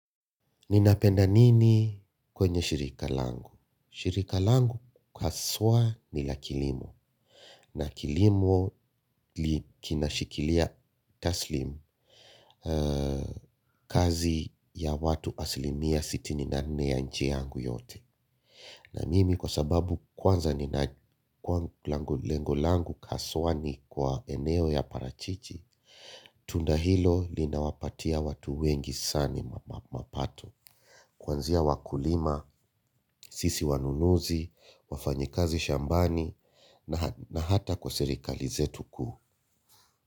Ninapenda nini kwenye shirika langu? Shirika langu haswa ni la kilimo. Na kilimo kinashikilia taslim kazi ya watu asilimia sitini na nne ya nchi yangu yote. Na mimi kwa sababu kwanza nina lengo langu haswa ni kwa eneo ya parachichi, tunda hilo linawapatia watu wengi mapato. Kuanzia wakulima, sisi wanunuzi, wafanyi kazi shambani na hata kwa serikali zetu kuu.